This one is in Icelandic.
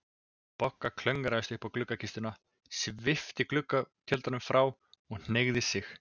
Bogga klöngraðist upp í gluggakistuna, svipti gluggatjöldunum frá og hneigði sig.